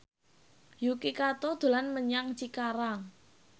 Yuki Kato dolan menyang Cikarang